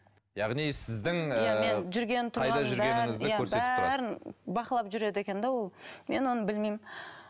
яғни сіздің ыыы жүргенім қайда жүргеніңізді көрсетіп тұрады бақылап жүреді екен де ол мен оны білмеймін